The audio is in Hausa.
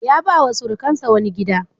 Ya ba wa surukinsa wani gida.